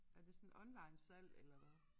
Er det sådan online salg eller hvad